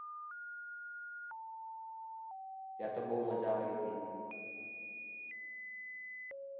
ત્યાં તો બૌ મજા આવી હતી